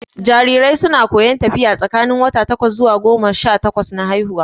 Jarirai su na koyon tafiya tsakanin wata takwas zuwa goma sha takwas na haihuwa